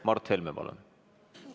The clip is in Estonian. Mart Helme, palun!